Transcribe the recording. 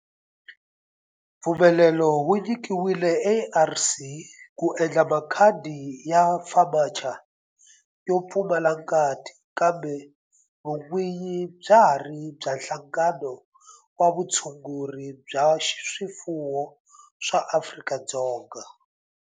Mpfumelelo wu nyikiwile ARC ku endla makhadi ya FAMACHA yo pfumala ngati kambe vun'winyi bya ha ri bya Nhlangano wa Vutshunguri bya swifuwo wa Afrika-Dzonga.